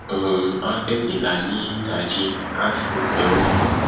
òòrùn á tètè là nídàájí á sì pẹ wọ